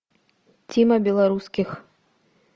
тима белорусских